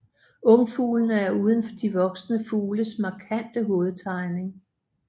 Ungfuglene er uden de voksne fugles markante hovedtegning